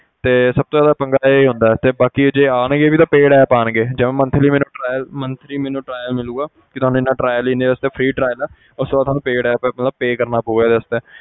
ਤੇ ਸਭ ਤੋਂ ਜ਼ਿਆਦਾ ਪੰਗਾ ਇਹ ਹੁੰਦਾ ਤੇ ਬਾਕੀ ਜੇ ਆਉਣਗੇ ਵੀ ਤਾਂ paid app ਆਉਣਗੇ ਜਿਵੇਂ monthly ਮੇਰਾ trial monthly ਮੈਨੂੰ trail ਮਿਲੇਗਾ ਕਿ ਤੁਹਾਨੂੰ ਇੰਨਾ trial ਇੰਨੇ ਵਾਸਤੇ free trial ਹੈ ਉਸ ਤੋਂ ਬਾਅਦ ਤੁਹਾਨੂੰ paid app ਦਾ pay ਕਰਨਾ ਪਊਗਾ ਇਹਦੇ ਵਾਸਤੇ,